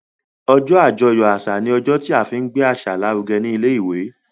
ojó ajoyọ àṣà ní ojó tí a fín gbé àṣà l'aruge ní ilé ìwé.